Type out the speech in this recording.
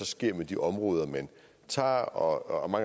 sker med de områder man tager og